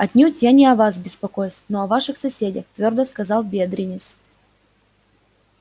отнюдь не о вас я беспокоюсь но о ваших соседях твёрдо сказал бедренец